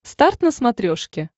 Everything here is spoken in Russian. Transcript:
старт на смотрешке